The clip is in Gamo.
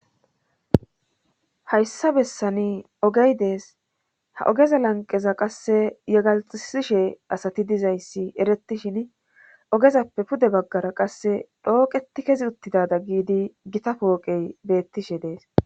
hayssa bessani ogey dees ha ogeza lanqeza qasse yegalxisishe asati dizayssi eretishin ogezappe pude baggara qasse dhooqeti kezi uttidada giidi gita pooqey beettishe dees